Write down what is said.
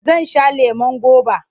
Zan sha lemon goba.